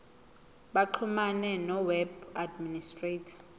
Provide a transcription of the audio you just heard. baxhumane noweb administrator